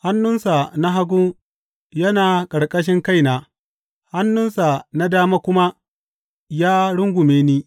Hannunsa na hagu yana a ƙarƙashin kaina, hannunsa na dama kuma ya rungume ni.